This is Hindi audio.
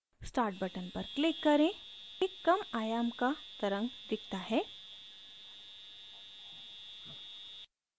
start button पर click करें एक कम आयाम का तरंग दिखता है